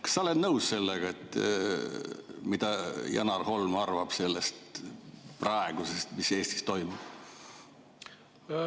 Kas sa oled nõus sellega, mida Janar Holm arvab sellest, mis praegu Eestis toimub?